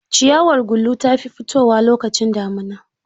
Ciyawar gulu ta fi fitowa lokacin damuna.